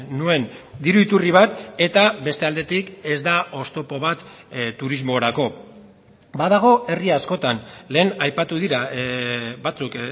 nuen diru iturri bat eta beste aldetik ez da oztopo bat turismorako badago herri askotan lehen aipatu dira batzuk